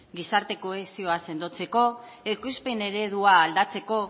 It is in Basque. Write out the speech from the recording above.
gizarte kohesioa sendotzeko ekoizpen eredua aldatzeko